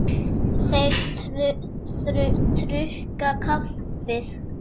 Þeir drukku kaffið.